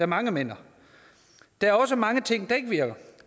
mange mener der er også mange ting der ikke virker